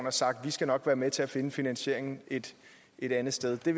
og sagt vi skal nok være med til at finde finansieringen et et andet sted det